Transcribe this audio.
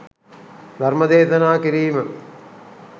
ධර්ම දේශනා කිරීම